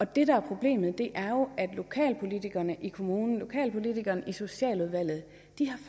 det der er problemet er jo at lokalpolitikerne i kommunen lokalpolitikerne i socialudvalget